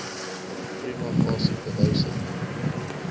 prima facie bewyse